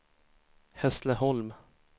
Hässleholm